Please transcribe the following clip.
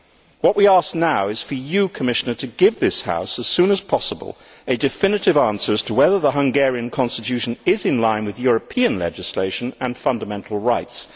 What we ask now is for you, Commissioner, to give this House, as soon as possible, a definitive answer as to whether the Hungarian constitution is in line with European legislation and fundamental rights.